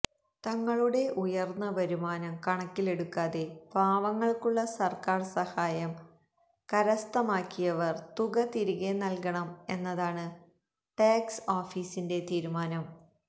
തങ്ങളുടെ ഉയര്ന്ന വരുമാനം കണക്കിലെടുക്കാതെ പാവങ്ങള്ക്കുള്ള സര്ക്കാര് സഹായം കരസ്ഥമാക്കിയവര് തുക തിരികെ നല്കണം എന്നതാണ് ടാക്സ് ഓഫീസിന്റെ തീരുമാനം